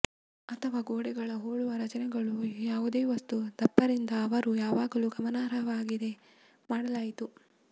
ಅಥವಾ ಗೋಡೆಗಳ ಹೋಲುವ ರಚನೆಗಳು ಯಾವುದೇ ವಸ್ತು ದಪ್ಪ ರಿಂದ ಅವರು ಯಾವಾಗಲೂ ಗಮನಾರ್ಹವಾಗಿವೆ ಮಾಡಲಾಯಿತು